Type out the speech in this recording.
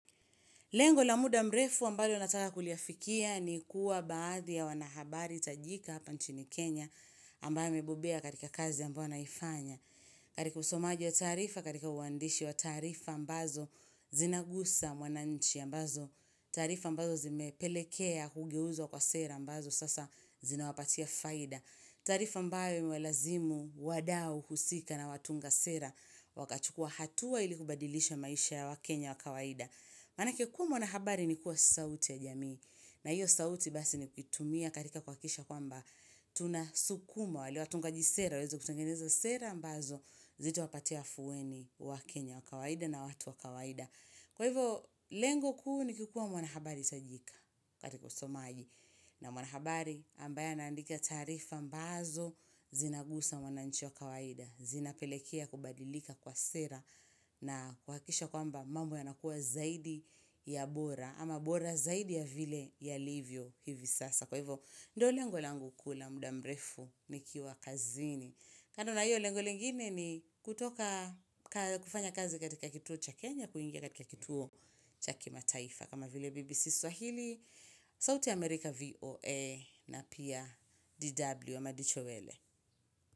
Lengo la muda mrefu ambayo nataka kuliafikia ni kuwa baadhi ya wanahabari tajika hapa nchini Kenya ambayo amebombea katika kazi ambayo naifanya. Karika usomaji wa taarifa, katika uandishi wa taarifa ambazo zinagusa mwananchi ambazo taarifa ambazo zimepelekea hugeuzwa kwa sera ambazo sasa zinawapatia faida. Taarifa ambayo imewalazimu wadau husika na watunga sera wakachukua hatua ili kubadilisha maisha ya waKenya wa kawaida. Maana kuwa mwanahabari ni kuwa sauti ya jamii na hiyo sauti basi ni kutumia karika kuhakisha kwamba tunasukuma wale watungaji sera, waeze kutengeneza sera ambazo zitawapatia afuweni waKenya wa kawaida na watu wa kawaida. Kwa hivyo, lengo kuu ni kikuwa mwanahabari tajika katika usomaji na mwanahabari ambaye anaandika taarifa ambazo zinagusa mwananchi wa kawaida, zinapelekea kubadilika kwa sera na kuhakisha kwamba mambo ya nakua zaidi ya bora ama bora zaidi ya vile yalivyo hivi sasa. Kwa hivyo, ndo lengo langu kuu la muda mrefu nikiwa kazini. Kano na hilo, lengo lingine ni kutoka ka kufanya kazi katika kituo cha Kenya, kuingia katika kituo cha kima taifa. Kama vile BBC Swahili, sauti ya Amerika VOA na pia DW, madicho wele.